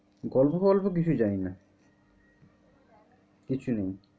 গল্প টল্প কিছু জানিনা, কিছু নেই।